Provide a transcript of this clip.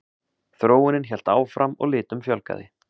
Þróunin hélt áfram og litum fjölgaði.